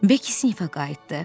Bekki sinifə qayıtdı.